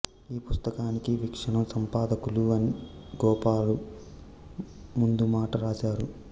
ఈ పుస్తకానికి వీక్షణం సంపాదకులు ఎన్ వేణుగోపాలు ముందుమాట రాశారు